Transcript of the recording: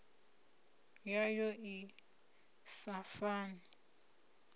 nyimele yayo i sa fani